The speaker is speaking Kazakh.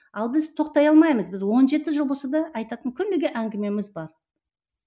ал біз тоқтай алмаймыз біз он жеті жыл болса да айтатын күніге әңгімеміз бар